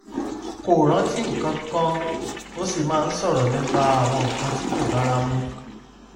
kò rántí nǹkan kan ó sì máa ń sọ̀rọ̀ nípa àwọn nǹkan tí kò bára mu